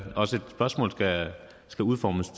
spørgsmålet skal udformes